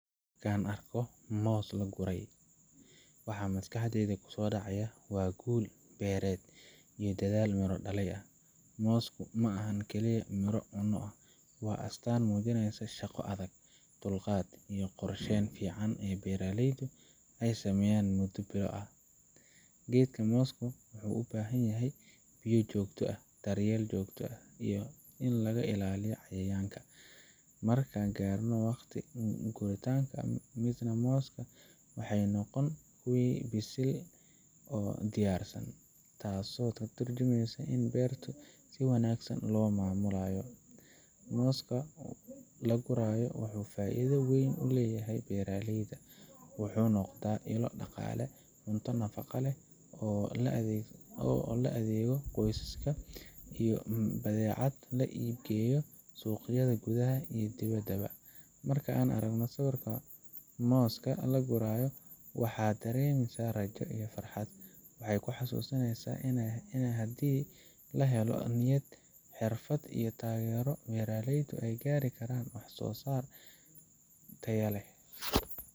Marka aan arko moos la guray, waxa maskaxdayda ku soo dhacaya waa guul beereed iyo dadaal miro dhalay. Moosku ma ahan oo kaliya miro la cuno; waa astaan muujinaysa shaqo adag, dulqaad iyo qorsheyn fiican oo beeraleydu ay sameeyeen muddo bilo ah. Geedka mooska wuxuu u baahan yahay biyo joogto ah, daryeel joogto ah, iyo in laga ilaaliyo cayayaanka. Marka la gaaro waqtiga guranqa, midhaha mooska waxay noqdaan kuwo bisil oo diyaarsan, taasoo ka tarjumeysa in beertu si wanaagsan loo maamulay. Mooska la guray wuxuu faa’iido weyn u leeyahay beeraleyda wuxuu noqdaa ilo dhaqaale, cunto nafaqo leh oo loogu adeego qoysaska, iyo badeecad loo iib geeyo suuqyada gudaha iyo dibadda. Marka aan arko sawirka mooska la gurayo, waxaan dareemaa rajo iyo farxad. Waxay xasuusinaysaa in haddii la helo niyad, xirfad, iyo taageero, beeraleydu ay gaari karaan wax soosaar tayo leh.